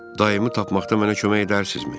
Daimi tapmaqda mənə kömək edərsinizmi?